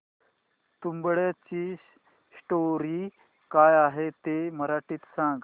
तुंबाडची स्टोरी काय आहे ते मराठीत सांग